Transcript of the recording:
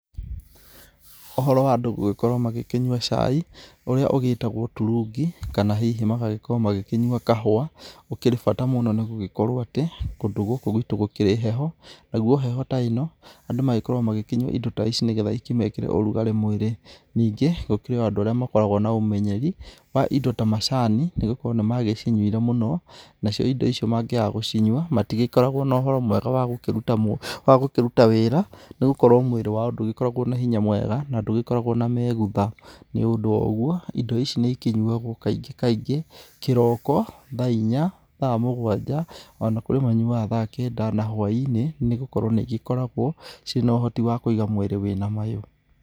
Uhoro wa andũ gũgĩkorwo magĩkĩnyua cai, ũrĩa ũgĩtagwo turungi kana hihi magagĩkorwo magĩkĩnyua kahũa, ũkĩrĩ bata muno. Nĩ gũgĩkorwo atĩ kũndũ gũkũ gwitũ gũkĩrĩ heho. Naguo heho ta ĩno, andũ magĩkoragwo makĩnyua indo ta ici, nĩgetha ikĩmekĩre ũrugarĩ mwĩrĩ. Ningĩ gũkĩrĩ o andũ arĩa makoragwo na ũmenyeri wa indo ta macani, nĩgũkorwo nĩmagĩcinyuire mũno. Nao cio indo icio mangĩaga gũcinyua, matĩgĩkoragwo na ũhoro mwega wa gũkĩruta wagũkĩruta wĩra nĩgũkorwo mwĩrĩ wao ndũgĩkoragwo na hinywa mwega na ndũgĩkoragwo na megutha. Nĩũndũ wa ũguo indo ici nĩikĩnyuagwo kaingĩ kaingĩ, kĩroko, thaa inya, thaa mũgwanja, ona kũrĩ manyuaga thaa kenda, na hwa-inĩ, nĩgũkorwo nĩigĩkoragwo ciĩ na ũhoti wa kũiga mwĩrĩ wĩ na mayũ.